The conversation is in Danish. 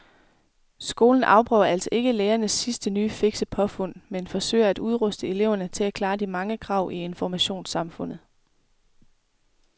Skolen afprøver altså ikke lærernes sidste nye fikse påfund men forsøger at udruste eleverne til at klare de mange krav i informationssamfundet.